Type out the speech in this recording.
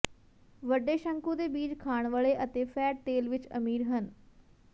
ਵੱਡੇ ਸ਼ੰਕੂ ਦੇ ਬੀਜ ਖਾਣ ਵਾਲੇ ਅਤੇ ਫ਼ੈਟ ਤੇਲ ਵਿੱਚ ਅਮੀਰ ਹਨ